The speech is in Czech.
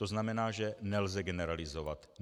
To znamená, že nelze generalizovat.